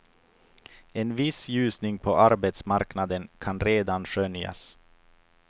En viss ljusning på arbetsmarknaden kan redan skönjas.